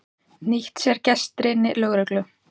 Nýtti sér gestrisni lögreglu